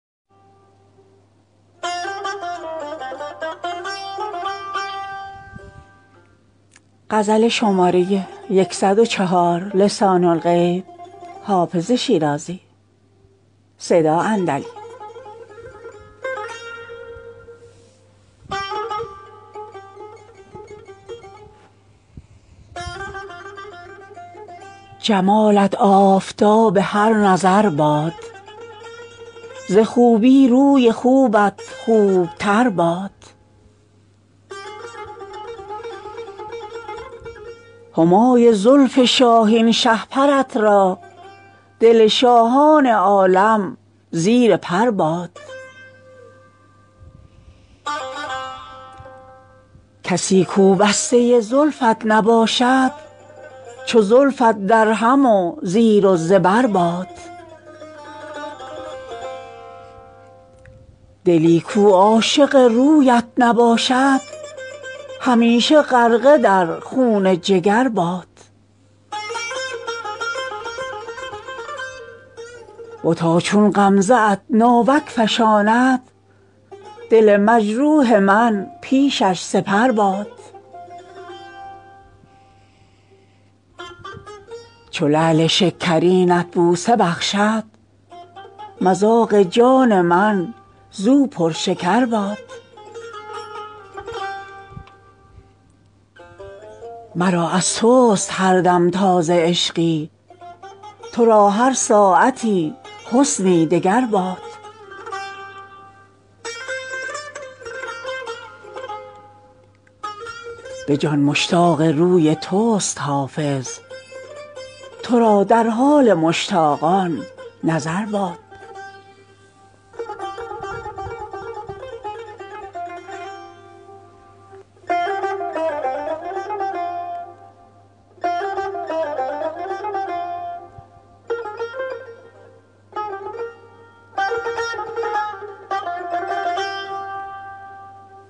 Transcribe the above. جمالت آفتاب هر نظر باد ز خوبی روی خوبت خوب تر باد همای زلف شاهین شهپرت را دل شاهان عالم زیر پر باد کسی کو بسته زلفت نباشد چو زلفت درهم و زیر و زبر باد دلی کو عاشق رویت نباشد همیشه غرقه در خون جگر باد بتا چون غمزه ات ناوک فشاند دل مجروح من پیشش سپر باد چو لعل شکرینت بوسه بخشد مذاق جان من زو پرشکر باد مرا از توست هر دم تازه عشقی تو را هر ساعتی حسنی دگر باد به جان مشتاق روی توست حافظ تو را در حال مشتاقان نظر باد